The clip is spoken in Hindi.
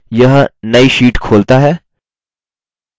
यह नई sheet खोलता है